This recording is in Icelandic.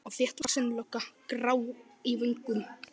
Og þéttvaxin lögga, grá í vöngum.